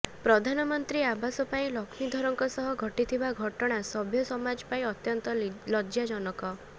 ପ୍ରଧାନମନ୍ତ୍ରୀ ଆବାସ ପାଇଁ ଲକ୍ଷ୍ମୀଧରଙ୍କ ସହ ଘଟିଥିବା ଘଟଣା ସଭ୍ୟ ସମାଜ ପାଇଁ ଅତ୍ୟନ୍ତ ଲଜ୍ଜା ଜନକ